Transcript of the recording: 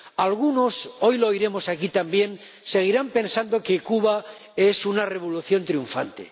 Algunos —hoy lo oiremos aquí también— seguirán pensando que Cuba es una revolución triunfante